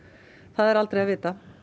það er aldrei að vita